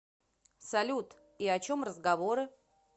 салют и о чем разговоры